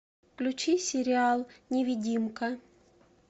включи сериал невидимка